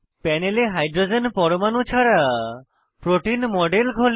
প্যানেলে হাইড্রোজেন পরমাণু ছাড়া প্রোটিন মডেল খোলে